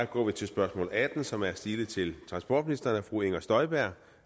går vi til spørgsmål atten som er stilet til transportministeren af fru inger støjberg